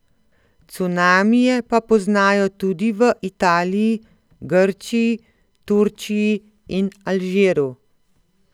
Cunamije pa poznajo tudi v Italiji, Grčiji, Turčiji in Alžiru.